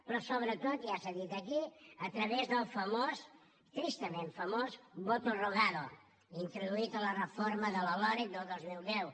però sobretot ja s’ha dit aquí a través del famós tristament famós voto rogado introduït a la reforma de la loreg del dos mil deu